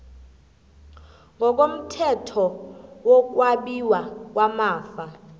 ngokomthetho wokwabiwa kwamafa